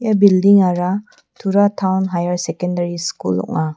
building-ara tura taon haiar sekendary skul ong·a.